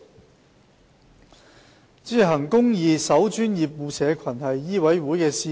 代理主席，"行公義、守專業、護社群"是醫委會的使命。